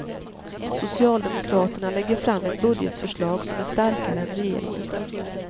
Socialdemokraterna lägger fram ett budgetförslag som är starkare än regeringens.